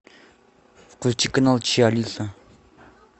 включи канал че алиса